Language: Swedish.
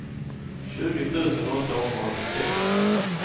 tjugo tusen åttahundraåttiosex